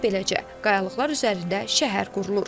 Və beləcə qayalıqlar üzərində şəhər qurulur.